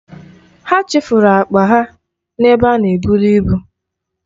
Ha chefuru akpa ha n'ebe a na-eburu ibu.